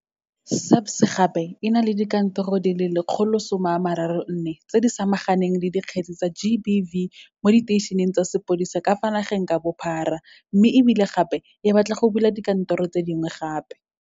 SAPS gape e na le dikantoro di le 134 tse di samaganeng le dikgetse tsa GBV mo diteišeneng tsa sepodisi ka fa nageng ka bophara mme e bile gape e batla go bula dikantoro tse dingwe gape.